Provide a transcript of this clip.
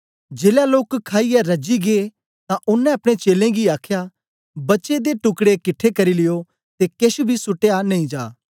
जेलै लोक खाईयै रजी गै तां ओनें अपने चेलें गी आखया बचे दे टुकड़ें किट्ठे करी लियो ते केछ बी सुटया नेई जा